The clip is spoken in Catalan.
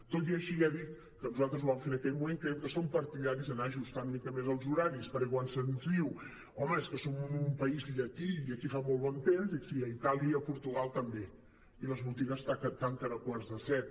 tot i així ja dic que nosaltres ho vam fer en aquell moment creiem que som par·tidaris d’anar ajustant una mica més els horaris perquè quan se’ns diu home és que som en un país llatí i aquí fa molt bon temps dic sí i a itàlia i a portugal també i les botigues tanquen a quarts de set